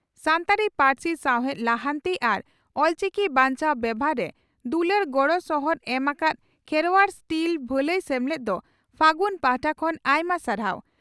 ᱥᱟᱱᱛᱟᱲᱤ ᱯᱟᱹᱨᱥᱤ ᱥᱟᱣᱦᱮᱫ ᱞᱟᱦᱟᱱᱛᱤ ᱟᱨ ᱚᱞᱪᱤᱠᱤ ᱵᱟᱧᱪᱟᱣ ᱵᱮᱵᱷᱟᱨ ᱨᱮ ᱫᱩᱞᱟᱹᱲ ᱜᱚᱲᱚ ᱥᱚᱦᱚᱫ ᱮᱢ ᱟᱠᱟᱫ ᱠᱷᱮᱨᱚᱣᱟᱲ ᱥᱴᱤᱞ ᱵᱷᱟᱞᱟᱹᱭ ᱥᱮᱢᱞᱮᱫ ᱫᱚ 'ᱯᱷᱟᱹᱜᱩᱱ' ᱯᱟᱦᱴᱟ ᱠᱷᱚᱱ ᱟᱭᱢᱟ ᱥᱟᱨᱦᱟᱣ ᱾